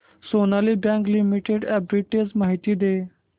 Sonali bank limited arbitrage माहिती दे